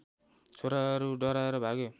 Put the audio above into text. छोराहरू डराएर भागे